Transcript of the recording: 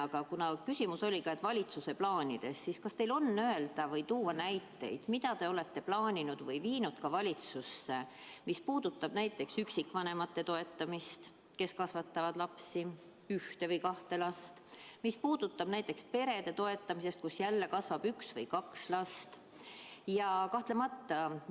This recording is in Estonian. Aga kuna küsimuse teema oli "Valitsuse plaanid", siis küsin: kas teil on tuua näiteid, mida te olete plaaninud ja viinud ka valitsusse, et toetada üksikvanemaid, kes kasvatavad ühte või kahte last, või peresid, kus on üks või kaks last?